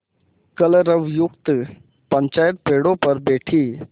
कलरवयुक्त पंचायत पेड़ों पर बैठी